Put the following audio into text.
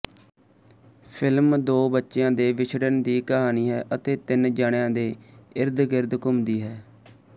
film ਦੋ ਬੱਚਿਆਂ ਦੇ ਵਿੱਛੜਨ ਦੀ ਕਹਾਣੀ ਹੈ ਅਤੇ ਤਿੰਨ ਜਣਿਆਂ ਦੇ ਇਰਦਗਿਰਦ ਘੁੰਮਦੀ ਹੈ